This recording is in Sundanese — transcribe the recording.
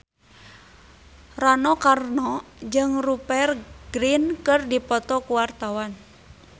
Rano Karno jeung Rupert Grin keur dipoto ku wartawan